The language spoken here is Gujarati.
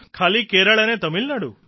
ખાલી કેરળ ને તમિલનાડુ